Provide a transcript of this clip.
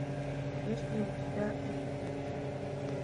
есть ли у тебя эпидемия